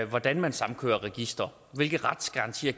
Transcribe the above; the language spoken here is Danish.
hvordan man samkører registre hvilke retsgarantier